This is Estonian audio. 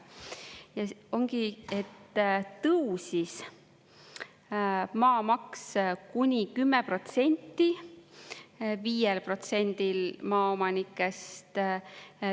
Ja ongi, et tõusis maamaks kuni 10% 5%-l maaomanikest.